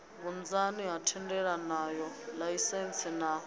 vhunzani ha thendelanoya laisentsi na